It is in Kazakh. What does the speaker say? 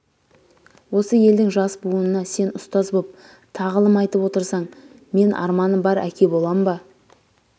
осы елдің жас буынына сен ұстаз боп тағылым айтып отырсаң мен арманым бар әке болам ба